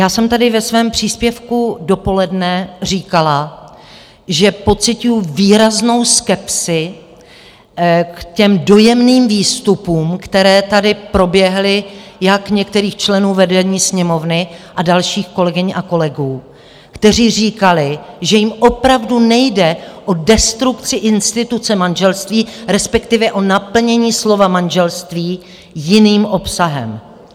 Já jsem tady ve svém příspěvku dopoledne říkala, že pociťuju výraznou skepsi k těm dojemným výstupům, které tady proběhly, jak některých členů vedení Sněmovny a dalších kolegyň a kolegů, kteří říkali, že jim opravdu nejde o destrukci instituce manželství, respektive o naplnění slova manželství jiným obsahem.